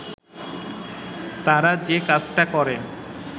তারা যে কাজটা করে